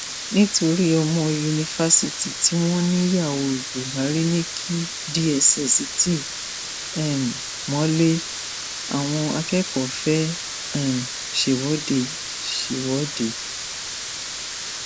nítorí ọmọ yunifásitì tí wọn níyàwó buhari ní kí dss ti um mọlé àwọn akẹkọọ fẹẹ um ṣèwọde ṣèwọde